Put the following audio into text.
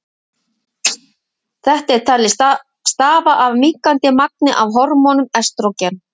Þetta er talið stafa af minnkandi magni af hormóninu estrógen.